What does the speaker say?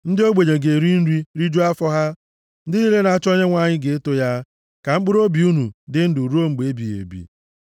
Ndị ogbenye ga-eri nri, rijuo afọ ha, ndị niile na-achọ Onyenwe anyị ga-eto ya ka mkpụrụobi unu dị ndụ ruo mgbe ebighị ebi.